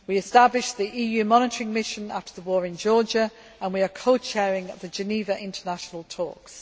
We established the EU Monitoring Mission after the war in Georgia and we are co chairing the Geneva international talks.